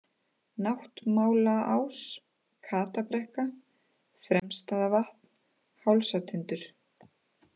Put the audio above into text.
Náttmálaás, Katabrekka, Fremstavatn, Hálsatindur